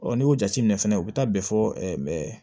n'i y'o jateminɛ fɛnɛ u bɛ taa bɛn fɔ